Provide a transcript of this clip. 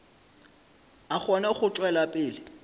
a kgone go tšwela pele